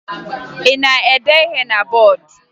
Ị na-ede ihe na bọọdụ?